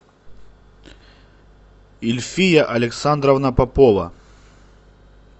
ильфия александровна попова